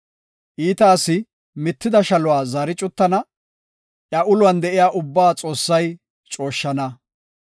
Iita asi mitida shaluwa zaari cuttana; iya uluwan de7iya ubbaa Xoossay cooshshana.